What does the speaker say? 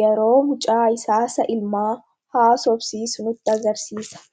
yeroo mucaa isaa isa ilmaa haasofsiisu nutti agarsiisa.